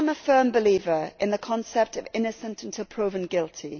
I am a firm believer in the concept of innocent until proven guilty.